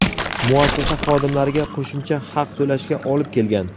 muassasa xodimlariga qo‘shimcha haq to‘lashga olib kelgan.